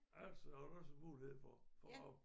Altså har du også mulighed for for rav